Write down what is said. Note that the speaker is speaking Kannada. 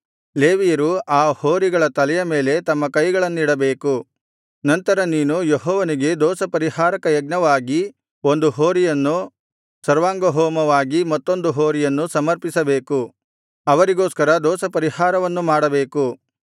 ಲೇವಿಯರು ಆ ಹೋರಿಗಳ ತಲೆಯ ಮೇಲೆ ತಮ್ಮ ಕೈಗಳನ್ನಿಡಬೇಕು ನಂತರ ನೀನು ಯೆಹೋವನಿಗೆ ದೋಷಪರಿಹಾರಕ ಯಜ್ಞವಾಗಿ ಒಂದು ಹೋರಿಯನ್ನೂ ಸರ್ವಾಂಗಹೋಮವಾಗಿ ಮತ್ತೊಂದು ಹೋರಿಯನ್ನು ಸಮರ್ಪಿಸಬೇಕು ಅವರಿಗೋಸ್ಕರ ದೋಷಪರಿಹಾರವನ್ನು ಮಾಡಬೇಕು